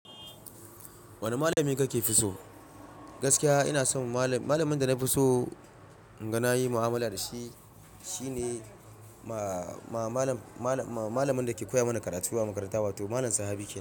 Wane malami kake fi so? Gaskiya ina so malam, malamin da na fi so inga na yi mu'amala da shi. Shi ne ma malam, malam, malam, malamin da ke koya mana karatu a makaranta, wato malam Sahabi.